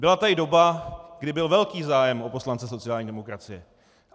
Byla tady doba, kdy byl velký zájem o poslance sociální demokracie.